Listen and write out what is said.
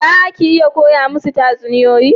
Za ki iya koya musu tatsuniyoyi?